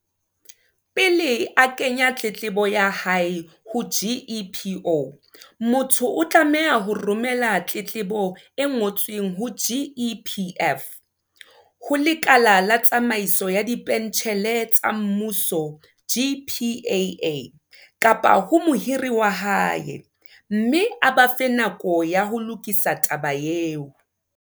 Pele a kenya tletlebo ya hae ho GEPO, motho o tlameha ho romela tletlebo e ngo tsweng ho GEPF, ho Lekala la Tsamaiso ya Dipentjhele tsa Mmuso, GPAA, kapa ho mohiri wa hae, mme a ba fe nako ya ho lokisa taba eo.